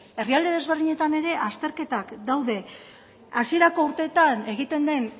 herrialde ezberdinetan ere azterketak daude hasierako urteetan egiten den